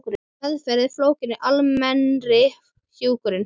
Meðferð er fólgin í almennri hjúkrun.